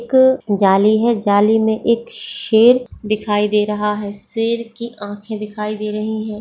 एक जाली है जाली में एक शेर दिखाई दे रहा है शेर की आंखें दिखाई दे रही है।